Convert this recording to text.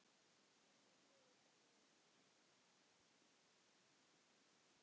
Hvíl í friði kæri vinur.